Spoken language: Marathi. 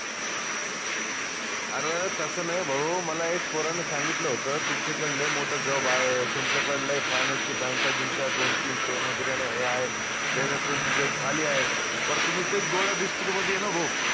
आर तस नाई भाऊ मला एक पोरान सांगितलं होत तुमच्याकडं लय मोटा job आहे तुमच्याकडं लय finance ची bank का गिंक दोन, तीन हे आहे त्याच्यात तुमची खाली आहे पर तुम्ही तेच गोळ्या biscuit मदि ए न भाऊ